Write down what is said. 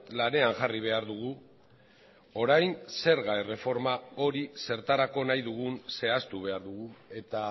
lanean jarri behar dugu orain zerga erreforma hori zertarako nahi dugun zehaztu behar dugu eta